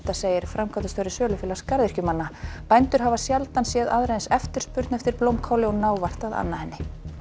segir framkvæmdastjóri sölufélags garðyrkjumanna bændur hafa sjaldan séð aðra eins eftirspurn eftir blómkáli og ná vart að anna henni